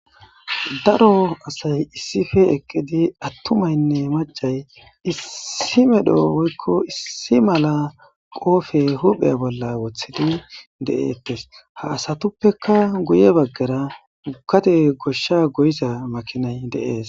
Daro asay issife eqqidi attumaynne macay issi medho oykko issi mala qoofe hupheya bolla woththidi deettes ha asatuppeka guye baggara gukate goshsha goyiza makinay deees.